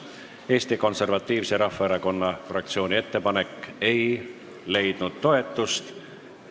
Eesti Konservatiivse Rahvaerakonna fraktsiooni ettepanek ei leidnud toetust.